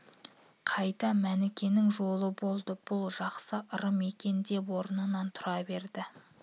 қайта мәнікенің жолы болды бұл жақсы ырым екен деп орнынан тұра берді